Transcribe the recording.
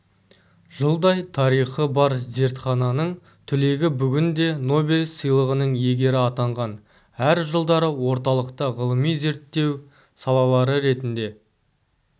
жылдай тарихы бар зертхананың түлегі бүгінде нобель сыйлығының иегері атанған әр жылдары орталықта ғылыми-зерттеу салалары ретінде